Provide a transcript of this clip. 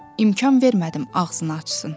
İmkan vermədim ağzını açsın.